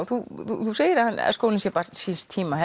þú segir að skólinn sé barn síns tíma